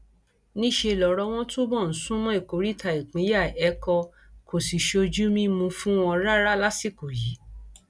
níṣẹ lọrọ wọn túbọ ń sún mọ ìkóríta ìpínyà ẹkọ kó sì ṣojú mímu fún wọn rárá lásìkò yìí